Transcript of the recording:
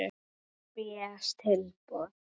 Spes tilboð.